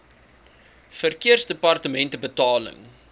verkeersdepartementebetaling